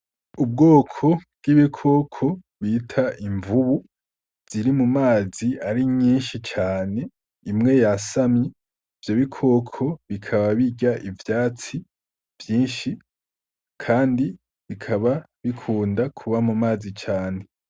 Ubwoko bw'ibikoko bita imvubu yiri mu mazi ari nyinshi cane imwe ya samye vyo bikoko bikaba birya ivyatsi vyinshi, kandi bikaba bikunda kuba mu mazi cane.